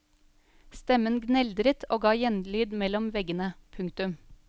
Stemmen gneldret og gav gjenlyd mellom veggene. punktum